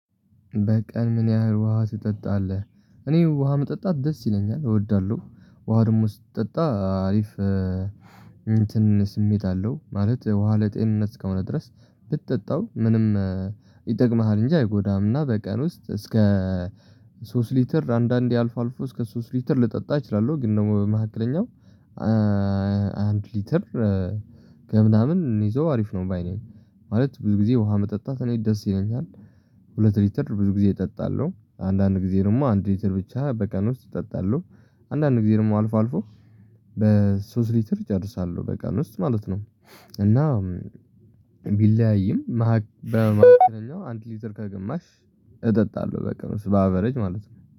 በቀን ምን ያህል ውሃ ትጠጣለህ? እኔ ውሃ መጠጣት ደስ ይለኛል እወዳለሁ። ውሃ ደግሞ ስጠጣ አሪፍ እንትን ስሜት አለው ማለት ውሃ ለጤንነት እስከሆነ ድረስ። ብትጠጣው ምንም ይጠቅምሃል እንጂ አይጎዳህምና። በቀን ውስጥ እስከ ሶስት ሊትር አንዳንዴ አልፎ አልፎ እስከ ሶስት ሊትር ልጠጣ እችላለሁ። ግን ደግሞ በመካከለኛው አንድ ሊትር ገብናምን እንይዘው አሪፍ ነው ባይ ነኝ። ማለት ብዙ ጊዜ ውሃ መጠጣት እኔን ደስ ይለኛል። ሁለት ሊትር ብዙ ጊዜ እጠጣለሁ አንዳንድ ጊዜ ደግሞ አንድ ሊትር ብቻ በቀን ውስጥ እጠጣለሁ። አንዳንድ ጊዜ ደግሞ አልፎ አልፎ በሶስት ሊትር እጨርሳለሁ በቀን ውስጥ ማለት ነው። እና ቢለያይም መሃል አንተ ሊትር ከግማሽ እጠጣለሁ በቀን ውስጥ በአበረጅ ማለት ነው